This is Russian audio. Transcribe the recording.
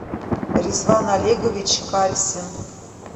ризван олегович кальсин